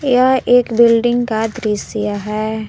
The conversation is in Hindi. यह एक बिल्डिंग का दृश्य है।